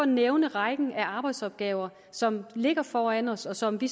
nævne rækken af arbejdsopgaver som ligger foran os og som vi